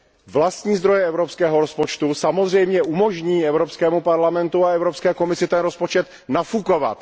Vlastní zdroje evropského rozpočtu samozřejmě umožní Evropskému parlamentu a Evropské komisi rozpočet nafukovat.